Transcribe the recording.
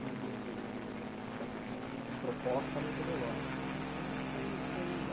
do do do do da da da proposta metodológica né. Então foi foi